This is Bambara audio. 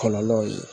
Kɔlɔlɔw ye